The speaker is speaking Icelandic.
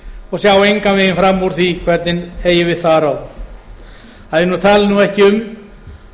og sjá engan veginn fram úr því hvernig eigi við því að ráða að ég tali ekki um